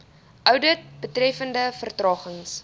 oudit betreffende vertragings